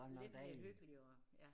Det lidt mere hyggeligere ja